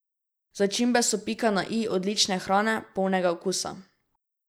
Začimbe so pika na i odlične hrane, polnega okusa.